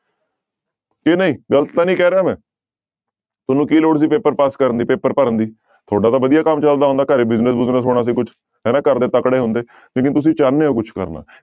ਕਿ ਨਹੀਂ ਗ਼ਲਤ ਤਾਂ ਨੀ ਕਹਿ ਰਿਹਾ ਮੈਂ ਤੁਹਾਨੂੰ ਕੀ ਲੋੜ ਸੀ ਪੇਪਰ ਪਾਸ ਕਰਨ ਦੀ, ਪੇਪਰ ਭਰਨ ਦੀ, ਤੁਹਾਡਾ ਤਾਂ ਵਧੀਆ ਕੰਮ ਚੱਲਦਾ ਹੁੰਦਾ, ਘਰੇ business ਬੁਜਨਸ ਹੋਣਾ ਸੀ ਕੁਛ, ਹਨਾ ਘਰਦੇ ਤਕੜੇ ਹੁੰਦੇ ਲੇਕਿੰਨ ਤੁਸੀਂ ਚਾਹੁੰਦੇ ਹੋ ਕੁਛ ਕਰਨਾ।